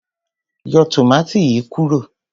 Yọ tòmátì yìí kúrò.